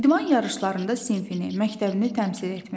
İdman yarışlarında sinfini, məktəbini təmsil etmək.